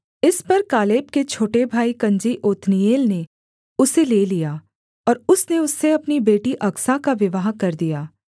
इस पर कालेब के छोटे भाई कनजी ओत्नीएल ने उसे ले लिया और उसने उससे अपनी बेटी अकसा का विवाह कर दिया